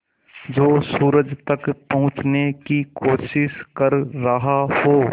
जो सूरज तक पहुँचने की कोशिश कर रहा हो